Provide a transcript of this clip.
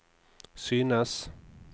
synes